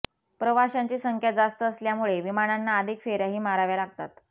प्रवाशांची संख्या जास्त असल्यामुळे विमानांना अधिक फेऱ्याही माराव्या लागतात